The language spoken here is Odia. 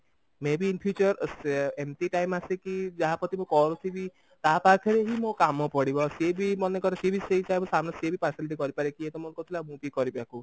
may be in future ଏମତି time ଆସେ କି ଯାହାପ୍ରତି ମୁଁ କରୁଥିବି ତା ପାଖରେ ହିଁ ମୋ କାମ ପଡିବ ଆଉ ସିଏ ବି ମନେକର ସିଏ ବି ସେଇ type ର କାମ ସିଏ ବି partiality କରିପାରେ ଇଏ ତ ମୋର କରୁଥିଲା ମୁଁ ବି କରିବି ଆକୁ